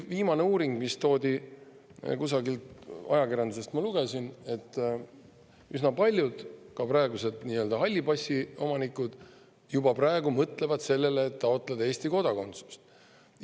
Viimase uuringu järgi – ma kusagilt ajakirjandusest seda lugesin – ka üsna paljud praegused nii-öelda halli passi omanikud juba mõtlevad sellele, et taotleda Eesti kodakondsust.